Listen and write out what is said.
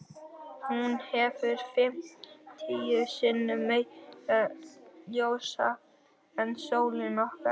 Hún hefur fimmtíu sinnum meira ljósafl en sólin okkar.